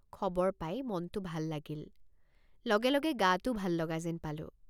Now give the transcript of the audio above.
খবৰ পাই মনটে৷ ভাল লাগিল লগে লগে গাটোও ভাল লগা যেন পালোঁ।